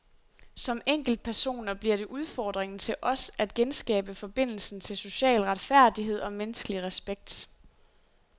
Som enkeltpersoner bliver det udfordringen til os at genskabe forbindelsen til social retfærdighed og menneskelig respekt.